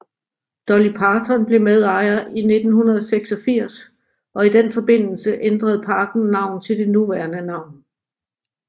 Dolly Parton blev medejer i 1986 og i den forbindelse ændrede parken navn til det nuværende navn